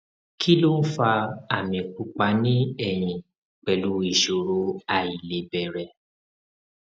kí ló ń fa àmì pupa ní ẹyìn pẹlú ìṣòro àìlebẹrẹ